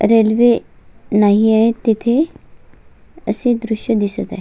Railway नाहीये तिथे असे दृश दिसत आहे.